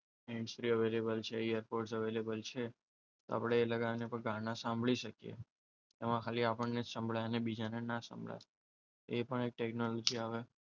hands free available છે airpods available છે આપણે એ લગાવીને ગાના સાંભળી શકીએ. એમાં ખાલી આપણને જ સંભળાય અને બીજાને ન સંભળાય. એ પણ એક ટેકનોલોજી આવે.